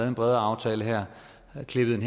en bredere aftale her og havde klippet en